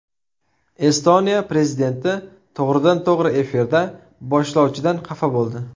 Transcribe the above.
Estoniya prezidenti to‘g‘ridan-to‘g‘ri efirda boshlovchidan xafa bo‘ldi .